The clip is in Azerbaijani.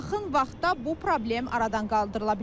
Amma yaxın vaxtda bu problem aradan qaldırıla bilər.